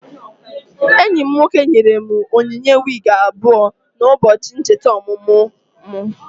Enyi m nwoke nyere m onyinye wigi abụọ na ụbọchị ncheta ọmụmụ mụ